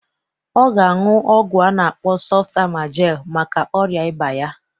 Ọ ga aṅụ ọgwụ a na-akpọ sọft amajel maka ọrịa ịba ya